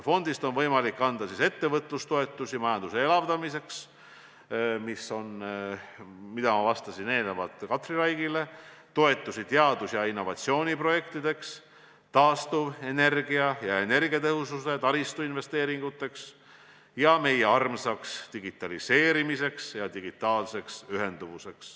Fondist on võimalik anda ettevõtlustoetusi majanduse elavdamiseks, nagu ma enne Katri Raigile vastasin, aga ka toetusi teadus- ja innovatsiooniprojektideks, taastuvenergia, energiatõhususe ja taristu investeeringuteks ning meie armsaks digitaliseerimiseks ja digitaalseks ühenduvuseks.